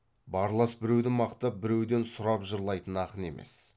барлас біреуді мақтап біреуден сұрап жырлайтын ақын емес